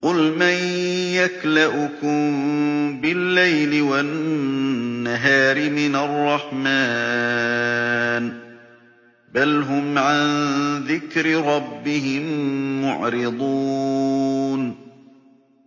قُلْ مَن يَكْلَؤُكُم بِاللَّيْلِ وَالنَّهَارِ مِنَ الرَّحْمَٰنِ ۗ بَلْ هُمْ عَن ذِكْرِ رَبِّهِم مُّعْرِضُونَ